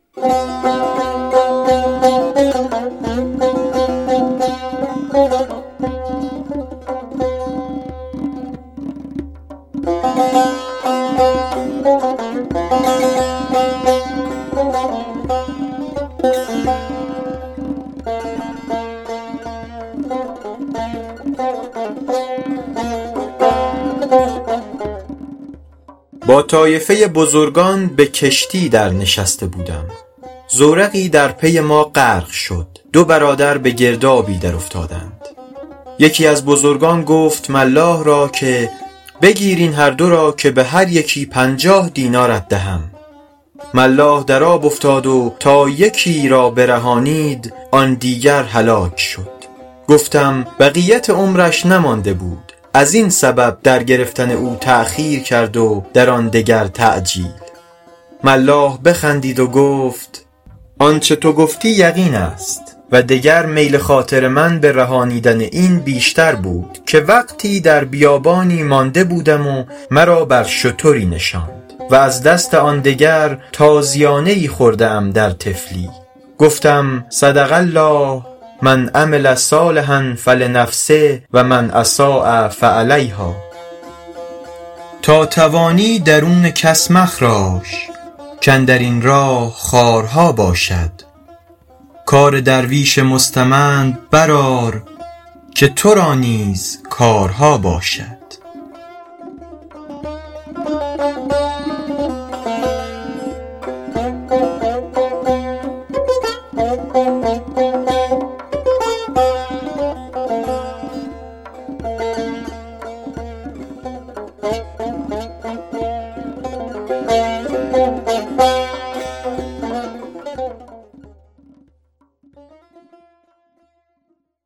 با طایفه بزرگان به کشتی در نشسته بودم زورقی در پی ما غرق شد دو برادر به گردابی در افتادند یکی از بزرگان گفت ملاح را که بگیر این هر دو را که به هر یکی پنجاه دینارت دهم ملاح در آب افتاد و تا یکی را برهانید آن دیگر هلاک شد گفتم بقیت عمرش نمانده بود از این سبب در گرفتن او تأخیر کرد و در آن دگر تعجیل ملاح بخندید و گفت آنچه تو گفتی یقین است و دگر میل خاطر من به رهانیدن این بیشتر بود که وقتی در بیابانی مانده بودم و مرا بر شتری نشاند و از دست آن دگر تازیانه ای خورده ام در طفلی گفتم صدق الله من عمل صالحا فلنفسه و من أساء فعلیهٰا تا توانی درون کس مخراش کاندر این راه خارها باشد کار درویش مستمند بر آر که تو را نیز کارها باشد